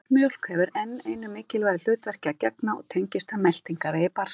Broddmjólk hefur enn einu mikilvægu hlutverki að gegna og tengist það meltingarvegi barnsins.